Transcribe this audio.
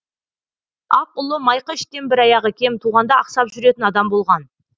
ақ ұлы майқы іштен бір аяғы кем туғанда ақсап жүретін адам болған